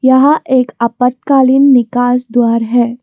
यहां एक आपातकालीन निकास द्वार है।